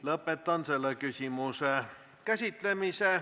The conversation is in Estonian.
Lõpetan selle küsimuse käsitlemise.